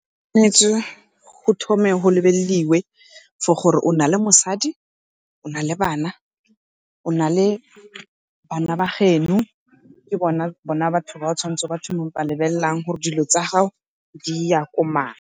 go thome go lebelediwe for gore o na le mosadi, o na le bana, ona le bana ba geno ke bona batho ba o tshwanetseng ba thoma go ba lebelelelang gore dilo tsa gago di ya ko mang.